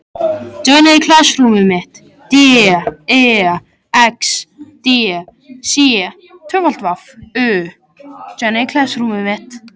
Í áróðri sínum báru vesturfararnir fram margt það sem